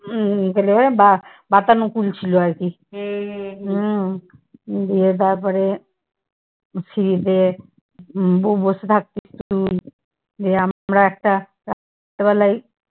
উম বা বাতানোকুল ছিল আরকি। উম দিয়ে তারপরে সিড়িতে ব~ বসে থাকতিস তুই। দিয়ে আমরা একটা রাত্রেবেলায়